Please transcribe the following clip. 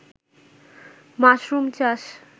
mushroom চাষ